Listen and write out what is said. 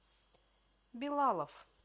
билалов